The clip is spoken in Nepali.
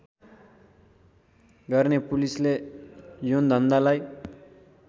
गर्ने पुलिसले यौनधन्दालाई